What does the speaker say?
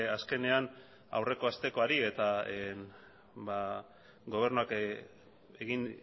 azkenean aurreko astekoari eta gobernuak egin